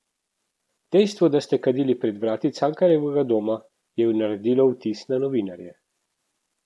Dejstvo, da ste kadili pred vrati Cankarjevega doma, je naredilo vtis na novinarje.